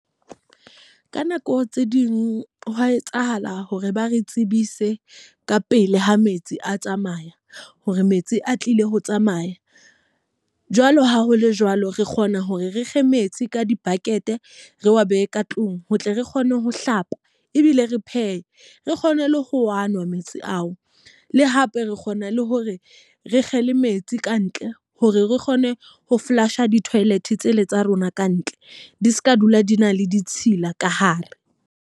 Ka nako tse ding hwa etsahala hore ba re tsebise ka pele ha metsi a tsamaya. Hore metsi a tlile ho tsamaya. Jwalo ha ho le jwalo re kgona hore re kge metsi ka di-bucket re wa behe ka tlung. Ho tle re kgone ho hlapa, ebile re phehe, re kgone le ho a nwa metsi ao. Le hape re kgona le hore re kgele metsi kantle hore re kgone ho flash-a di-toilet tsele tsa rona kantle di seka dula di na le ditshila ka hare.